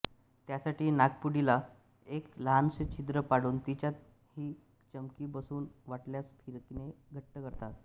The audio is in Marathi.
त्यासाठी नाकपुडीला एक लहानसे छिद्र पाडून तिच्यात ही चमकी बसवून वाटल्यास फिरकीने घट्ट करतात